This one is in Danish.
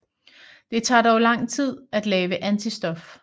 Det tager dog lang tid at lave antistof